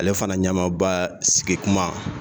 Ale fana ɲɛmaba sigikuma